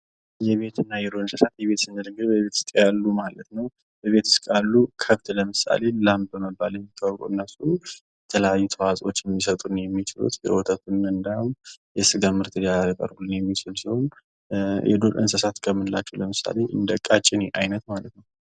የቤትና የዱር እንስሳት በቤት ስንል እንግዲህ የቤት ውስጥ ያሉ ማለት ነው በቤት ውስጥ ያሉ ማለት ነው በቤት ውስጥ ያሉ ከብት ለምሳሌ ላም በመባል የሚታወቀው እነሱም የትለያየ ትዋህጾ ሊሰጡን የሚችሉ የወተት ፣የስጋ ልምድ ሊቀርቡልን የሚችል ሲሆን የዱር እንስሳት ከምንላቸው እንደ ቀጨኔ አይነት ማለት ነው።